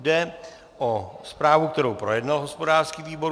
Jde o zprávu, kterou projednal hospodářský výbor.